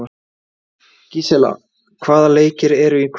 Gísela, hvaða leikir eru í kvöld?